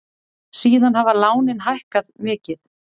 Síðan hafa lánin hækkað mikið.